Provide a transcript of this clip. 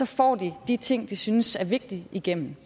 får de de ting de synes er vigtige igennem